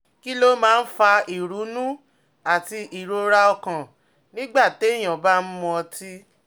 Kí ló máa ń fa ìrunú àti ìrora ọkàn nígbà téèyàn bá ń mu ọtí?